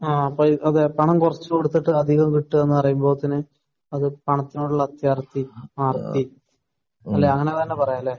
ആഹ്. അതെ. അതെ. പണം കുറച്ച് കൊടുത്തിട്ട് അധികം കിട്ടുകയെന്ന് പറയുമ്പോൾ തന്നെ അത് പണത്തിനോടുള്ള അത്യാർത്തിയും ആർത്തിയും. അല്ലെ? അങ്ങനെ തന്നെ പറയാം. അല്ലെ?